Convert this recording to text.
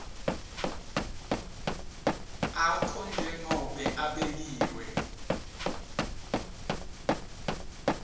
akho njengobe abekiwe